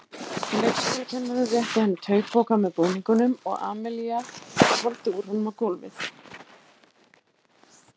Leikskólakennarinn rétti henni taupoka með búningunum og Amalía hvolfdi úr honum á gólfið.